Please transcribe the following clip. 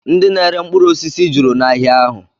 Ndị na-ere mkpụrụosisi juru n'ahịa ahụ